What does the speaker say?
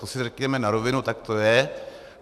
To si řekněme na rovinu, tak to je.